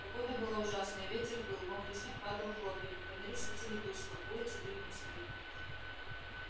погода была ужасная ветер выл мокрый снег падал хлопьями фонари светили тускло улицы были пусты